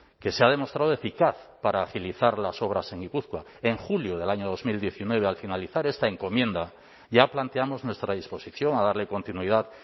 que se ha demostrado eficaz para agilizar las obras en gipuzkoa en julio del año dos mil diecinueve al finalizar esta encomienda ya planteamos nuestra disposición a darle continuidad